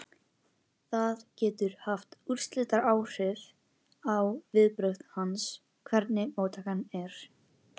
Það getur haft úrslitaáhrif á viðbrögð hans, hvernig móttakan er.